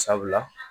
Sabula